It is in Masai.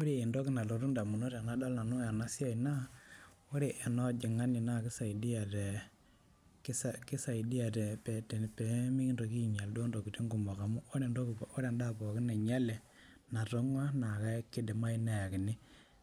Ore entoki nalotu indamunot tenadol nanu ena siai naa ore ena ojong'ani naa keisaidia tee keisaidia peemikintoki ainyal duoo intokiting' kumok amu oree entoki pookin endaa pookin nainyale natong'ua naa keidimayu neakini